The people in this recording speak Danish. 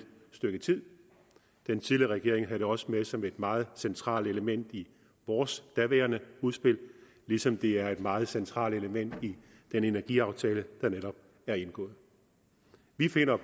stykke tid den tidligere regering havde det også med som et meget centralt element i vores daværende udspil ligesom det er et meget centralt element i den energiaftale der netop er indgået vi finder